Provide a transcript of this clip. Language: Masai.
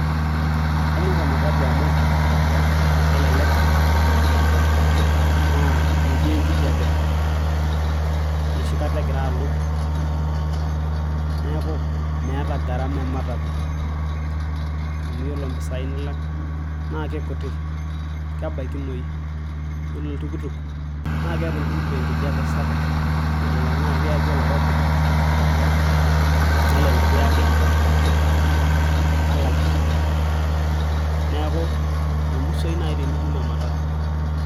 Kanyor ematatu amu kelelek naa metii enkijape enoshi kata egira alo neeku meeta garama ematatu amu yiolo impisai nilak naa keikutik kebaikinoyu yiolo oltukutuk naakeeta oltukutuk enkijape sapuk nelelek naaji kiyaki oloirobi nelelek kiyaki allergie neeku memusoyu naaji tenitum ematatu.